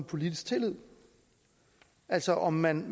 politisk tillid altså om man